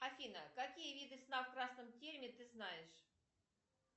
афина какие виды сна в красном тереме ты знаешь